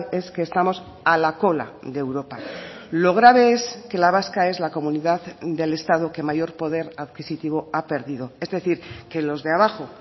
es que estamos a la cola de europa lo grave es que la vasca es la comunidad del estado que mayor poder adquisitivo ha perdido es decir que los de abajo